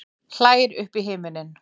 Hlær upp í himininn.